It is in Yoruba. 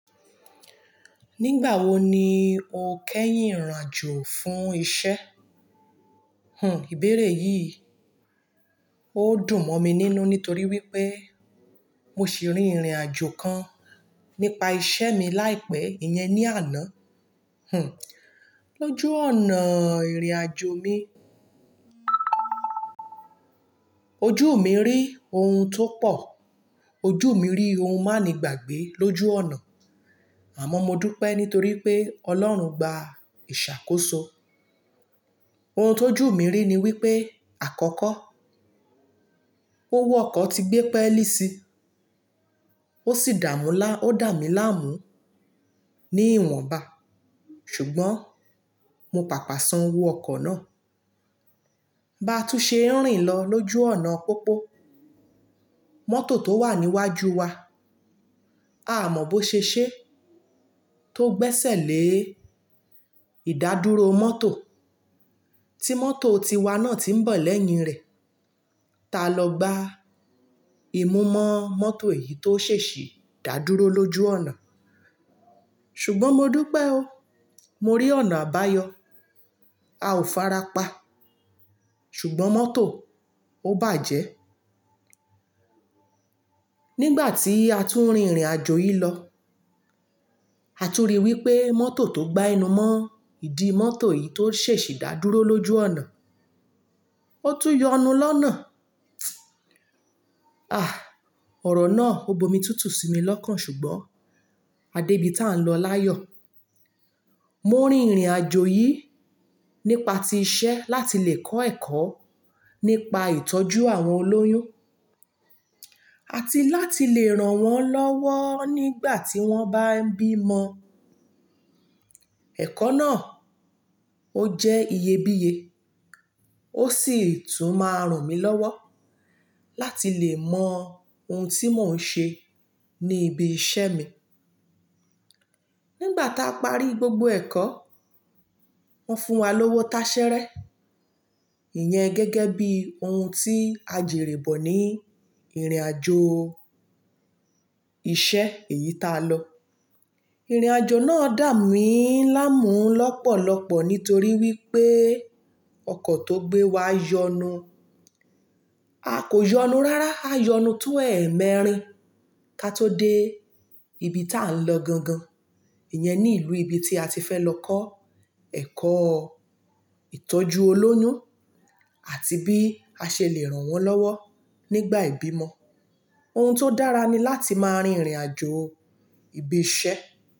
Nígbà wo ni o kẹ́yìn ìrìn àjò fún isẹ́? Hùn, ìbéèrè yìí ó dùn mọ́ mi nínú nítorí wípé mo ṣì rí ìrìn àjò kan nípa isẹ́ mi láìpẹ́, ìyẹn ní àná. Hùn, lójú ọ̀nà ìrìn àjò mi, ojú mi rí ohun tó pọ̀, ojú mi rí ohun má ni gbàgbé lójú ọ̀nà. Àmọ́ mo dúpẹ́ nítorí pé Ọlọ́run gba ìṣàkóso. Ohun tó jù mi rí ni wípé àkọ́kọ́, owó ọkọ̀ ti gbé pẹ́lí si, ó sì dà mula, oda mí láàmú ní ìwọ̀nba. Ṣùgbọ́n mo pàpà sán owó ọkọ̀ náà. Bá tú ṣe ń rìn lọ lójú ọ̀nà pópó, mọ́tò tó wà níwájú wa, aa mọ̀ bó ṣe ṣe tó gbẹ́sẹ̀ lé ìdádúró mọ́tò tí mọ́tò tiwa náà tí ń bọ̀ lẹ́yìn rẹ̀. Ta lọ gba ìmúmọ́ mọ́tò èyí tó ṣe ṣì dá dúró lójú ọ̀nà. Ṣùgbọ́n mo dúpẹ́ o, mo rí ọ̀nà àbáyọ, a ò farapa, ṣùgbọ́n mọ́tò ó bàjẹ́. Nígbà tí a tún rí ìrìn àjò yìí lọ, a tún rí i wípé mọ́tò tó gbá ẹnú mọ́ ìdi mọ́tò yìí tó ṣe ṣì dá dúró lójú ọ̀nà, ó tún yọnu lọ́nà. Àh! Ọ̀rọ̀ náà ó bomi tútù si mi lọ́kàn ṣùgbọ́n adébi tá ń lọ láyọ̀. Mo rí ìrìn àjò yìí nípa ti iṣẹ́ láti lè kọ́ ẹ̀kọ́ nípa ìtọ́jú àwọn olóyún àti láti lè ràn wọ́n lọ́wọ́ nígbà tí wọ́n bá ń bímọ. Ẹ̀kọ́ náà ó jẹ́ iyebíye, ó sì tún máa ràn mí lọ́wọ́ láti lè mọ ohun tí mò ń ṣe ní ibi iṣẹ́ mi. Nígbà tá parí gbogbo ẹ̀kọ́, wọ́n fún wa lówó táṣẹ́ rẹ́, ìyẹn gẹ́gẹ́ bí ohun tí a jèrè bọ̀ ní ìrìn àjò ìṣe èyí tá lọ. Ìrìn àjò náà dà mí láàmú lọ́pọ̀lọpọ̀ nítorí wípé ọkọ̀ tó gbé wa yọnu. A kò yọnu rárá, a yọnu to ẹ̀ẹ̀mẹrin ká tó dé ibi tá ń lọ gangan. Ìyẹn ni ìlú ibi tí a ti fẹ́ lọ kọ́ ẹ̀kọ́ ìtọ́jú olóyún àti bí a ṣe lè ràn wọ́n lọ́wọ́ nígbà ìbímọ. Ohun tó dára ni láti máa rin ìrìn àjò ibi iṣẹ́.